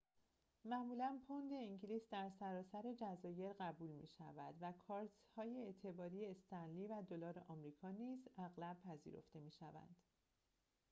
معمولاً پوند انگلیس در سراسر جزایر قبول می‌شود و کارت‌های اعتباری استنلی و دلار آمریکا نیز اغلب پذیرفته می‌شوند